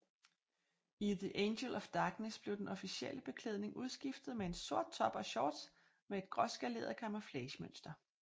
I The Angel of Darkness blev den officielle beklædning udskiftet med en sort top og shorts med et gråskaleret kamouflagemønster